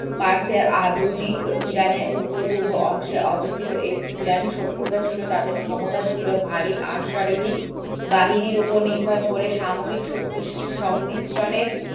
আধুনিক ইরানের উত্তর-পূর্ব অংশ অবস্থিত একটি ইরানি সভ্যতা ছিল তাদের ক্ষমতা ছিল ভারী অস্বারোহী বাহিনীর উপর নির্ভর করে সামরিক শক্তি সংমিশ্রণের